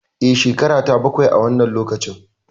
E, shekarata bakwai a wannan lokacin.